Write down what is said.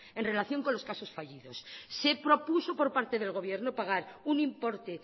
en relación con los casos fallidos se propuso por parte del gobierno pagar un importe